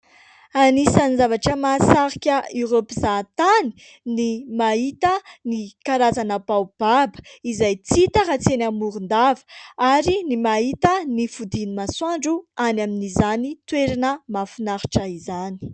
Anisan'ny zavatra mahasarika ireo mpizahantany ny mahita ny karazana baobaba izay hita raha tsy any Morondava ary ny mahita ny fodin'ny masoandro any amin'izany toerana mahafinaritra izany.